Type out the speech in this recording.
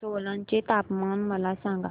सोलन चे तापमान मला सांगा